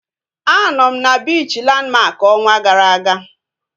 A nọ m na biichi Landmark ọnwa gara aga